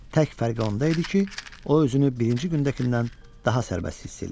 Tək fərqi onda idi ki, o özünü birinci gündəkindən daha sərbəst hiss eləyirdi.